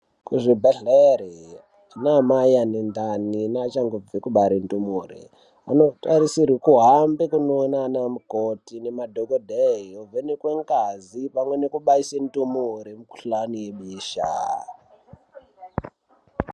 Kuzvibhedlere ana mai vane ndani, nevachangobva kubare ndumure, vanotarisirwe kuhamba kunowona anamukoti nemadhogodheya venikwe ngazi nekubaise ndumure mukuhlane irwiswa.